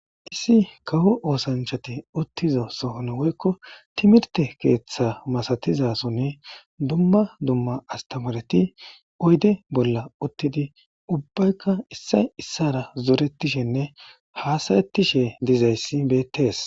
Issi kaho oosanchati uttiza sohon woykko timirte keeththa masatizasonne dumma dumma astamareti oyde bolla uttidi ubbaykka issay issara zoretishenne haasarettishe dizayssi bettees.